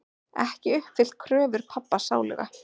Ekki uppfyllt kröfur pabba sáluga.